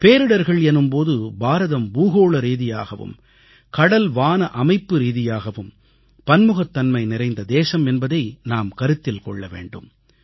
பேரிடர்கள் எனும் போது பாரதம் பூகோள ரீதியாகவும் கடல்வான அமைப்பு ரீதியாகவும் பன்முகத்தன்மை நிறைந்த தேசம் என்பதை நாம் கருத்தில் கொள்ள வேண்டும்